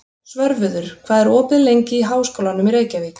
Svörfuður, hvað er opið lengi í Háskólanum í Reykjavík?